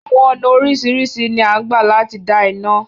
Àwọn ọ́nà oriṣiriṣi ni a ń gbà láti dá iná